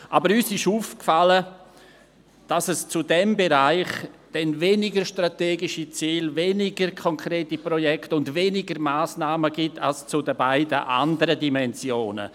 » Uns ist aber aufgefallen, dass es zu diesem Bereich dann weniger strategische Ziele, weniger konkrete Projekte und weniger Massnahmen gibt als zu den beiden anderen Dimensionen.